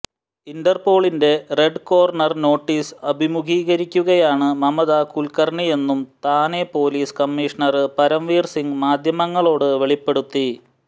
ഇന്റര്പോളിന്റെ red corner notice അഭിമുഖീകരിക്കുകയാണ് മമത കുല്ക്കര്ണിയെന്നും Thane police commissioner Paramvir Singh മാധ്യമങ്ങളോട് വെളിപ്പെടുത്തി